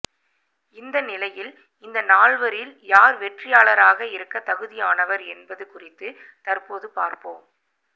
இந்த நிலையில் இந்த நால்வரில் யார் வெற்றியாளராக இருக்க தகுதியானவர் என்பது குறித்து தற்போது பார்ப்போம்